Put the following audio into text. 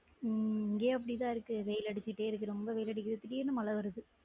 உம் இங்கயும் அப்படிதான் இருக்கு வெயில் அடிச்சுட்டே இருக்கு ரொம்ப வெயில் அடிக்கு திடிர்ன்னு மழை வருது